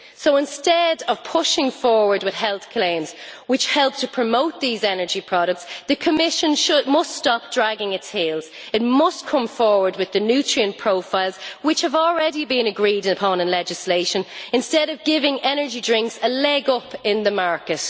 So, instead of pushing forward with health claims which help to promote these energy products, the Commission must stop dragging its heels. It must come forward with the nutrient profiles which have already been agreed upon in legislation, instead of giving energy drinks a leg up in the market.